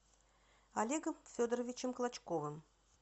олегом федоровичем клочковым